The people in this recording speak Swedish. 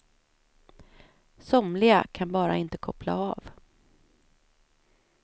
Somliga kan bara inte koppla av.